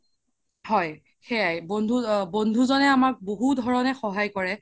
হয় সেইয়াই বন্ধু জ্নে আমাক বহুত ধৰণে সহায় কৰে